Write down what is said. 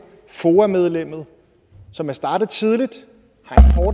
foa medlemmet som er startet tidligt